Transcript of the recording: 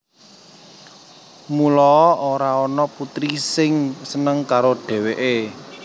Muloa ora ana putri sing seneng karo dheweke